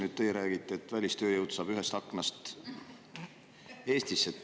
Nüüd teie räägite, et välistööjõud saab ühest aknast Eestisse.